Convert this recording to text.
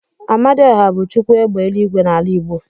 Amadioha bu Chukwu égbè eluigwe n'ala igbo.